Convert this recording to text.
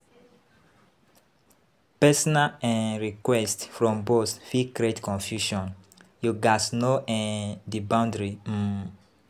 Personal um requests from boss fit create confusion; you gatz know um di boundary um.